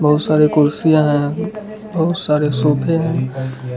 बहुत सारे कुर्सियां हैं बहुत सारे सोफे हैं।